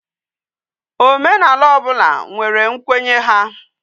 Omenala obula nwere nkwenye ha